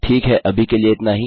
ठीक है अभी के लिए इतना ही